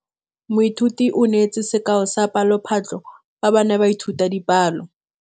Moithuti o neetse sekaô sa palophatlo fa ba ne ba ithuta dipalo.